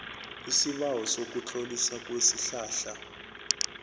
isibawo sokutloliswa kwesihlahla